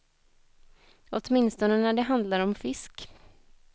Åtminstone när det handlar om fisk.